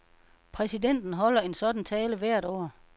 Præsidenten holder en sådan tale hvert år.